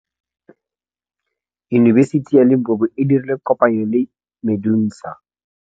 Yunibesiti ya Limpopo e dirile kopanyô le MEDUNSA.